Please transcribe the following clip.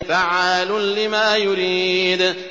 فَعَّالٌ لِّمَا يُرِيدُ